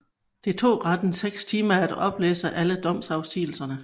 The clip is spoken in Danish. Det tog retten seks timer at oplæse alle domsafsigelserne